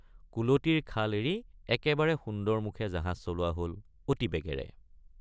কুলটিৰ খাল এৰি একেবাৰে সুন্দৰবন মুখে জাহাজ চলোৱা হল অতি বেগেৰে।